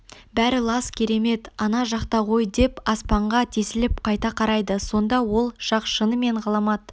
бәрі лас керемет ана жақта ғой деп аспанға тесіліп қайта қарайды сонда ол жақ шынымен ғаламат